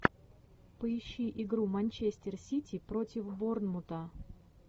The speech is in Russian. поищи игру манчестер сити против борнмута